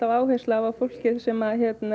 áherslu á að fólkið sem